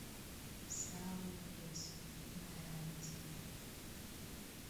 сао ресо гарантия